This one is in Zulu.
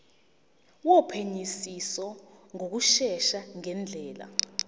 wophenyisiso ngokushesha ngendlela